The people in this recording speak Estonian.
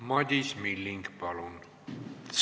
Madis Milling, palun!